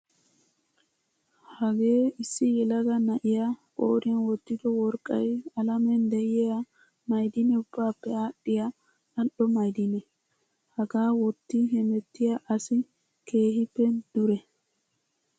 Hagee issi yelaga na'iyaa qooriyan wottido worqqayi alamen diyaa ma'idinee ubbaappe aadhdhiyaa al'o ma'idinee. Hagaa wotti hemettiyaa asi keehippe duree.